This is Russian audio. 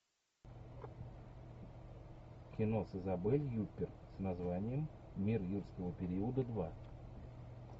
кино с изабель юппер с названием мир юрского периода два